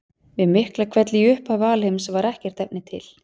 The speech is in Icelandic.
Við Miklahvell í upphafi alheims var ekkert efni til.